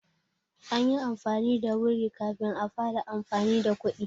An yi amfani da wuri kafin a fara amfani da kuɗi.